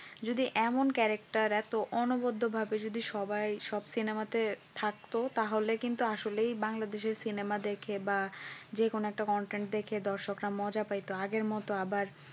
যদি এমন character এতো অনবদ্যভাবে যদি সবাই সব cinema তে থাকতো তাহলে কিন্তু তো আসলেই বাংলাদেশের cinema দেখে বা যেকোনএকটা content দেখে দর্শকদের মজা পাইত আগের মত আবার